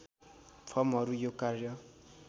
फर्महरू यो कार्य